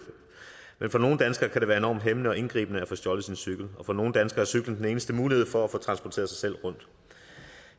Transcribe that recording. men for nogle danskere kan det være enormt hæmmende og indgribende at få stjålet sin cykel og for nogle danskere er cyklen den eneste mulighed for at få transporteret sig selv rundt